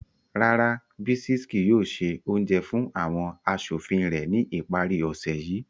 Rara, Bisis kii yoo se ounjẹ fun awọn aṣofin rẹ ni ipari ose yii